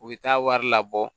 U bɛ taa wari labɔ